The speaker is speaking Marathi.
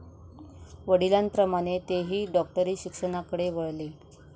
वडिलांप्रमाणे तेही डॉक्टरी शिक्षणाकडे वळले.